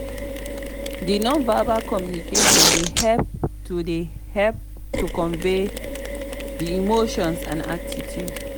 di non-verbal communication dey help to dey help to convey di emotions and attitudes.